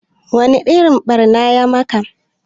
Wa ni irin ɓarna ya maka?